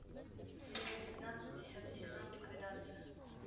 серия пятнадцать десятый сезон ликвидация